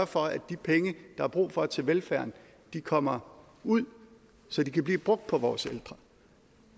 for at de penge der er brug for til velfærden kommer ud så de kan blive brugt på vores ældre